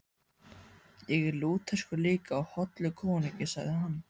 Ég er Lúterskur líka og hollur konungi, sagði hann.